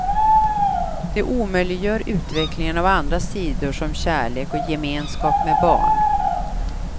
Det omöjliggör utveckling av andra sidor som kärlek och gemenskap med barn.